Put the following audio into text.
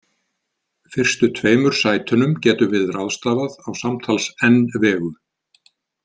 Fyrstu tveimur sætunum getum við ráðstafað á samtals n vegu.